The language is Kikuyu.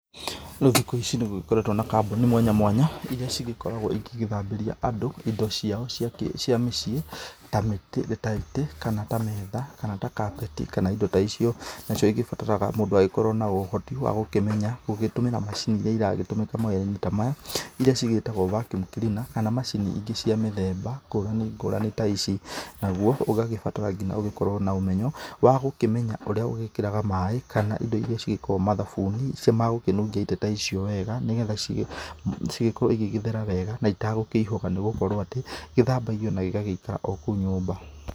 Rĩu thikũ ici nĩ gũgĩketo na kambuni mwanya mwanya ĩrĩa cĩgĩkoragwo igĩ ĩgĩthambĩria andũ indo ciao cia mĩciĩ ta itĩ kana ta metha kana ta kabeti kana indo ta icio, nacio igĩbataraga mũndũ agĩkorwo na ũhoti wa gũkĩmenya gũgĩtũmĩra macini ĩrĩa ĩragĩtũmĩka mawĩra-inĩ ta maya ĩrĩa cigĩtagwo Vacuum Cleaner kana macini ingĩ cia mĩthemba ngũrani ngũrani ta ici nagũo ũgagĩbatara ngiya gũkorwo na ũmenyo wa gũkĩmenya ũrĩa ũgĩkĩraga maĩ kana indo ĩrĩa cigĩkoragwo mathabuni magũkĩnũgia itĩ ta icio wega nĩgetha cigĩkorwo cigĩthera wega na itakũihũga nĩ gũkorwo atĩ gĩthambagio na gĩgagĩikara o kũu nyũmba.